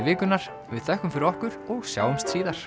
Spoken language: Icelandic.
vikunnar við þökkum fyrir okkur og sjáumst síðar